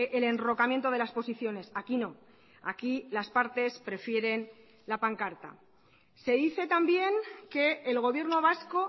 el enrocamiento de las posiciones aquí no aquí las partes prefieren la pancarta se dice también que el gobierno vasco